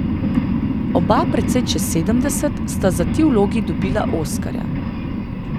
Oba precej čez sedemdeset sta za ti vlogi dobila oskarja.